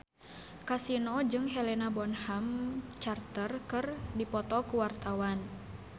Kasino jeung Helena Bonham Carter keur dipoto ku wartawan